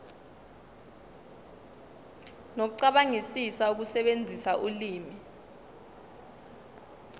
nokucabangisisa ukusebenzisa ulimi